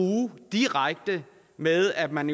direkte med at man